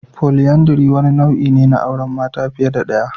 Polyandry wani nau'i ne na auren mata fiye da daya.